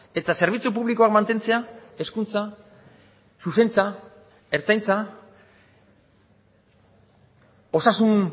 eta zerbitzu publikoak mantentzea hezkuntza zuzentza ertzaintza osasun